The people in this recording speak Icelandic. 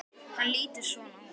Hann lítur svona út